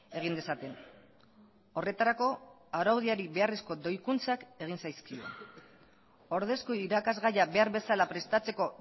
egin dezaten horretarako araudiari beharrezko doikuntzak egin zaizkio ordezko irakasgaia behar bezala prestatzeko